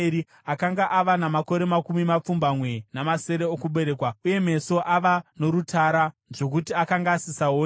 akanga ava namakore makumi mapfumbamwe namasere okuberekwa uye meso ava norutara zvokuti akanga asisaoni.